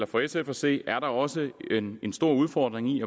for sf at se er der også en stor udfordring i